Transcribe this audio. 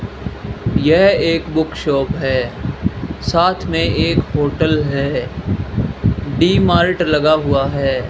यह एक book shop है साथ में एक होटल है डी मार्ट लगा हुआ है।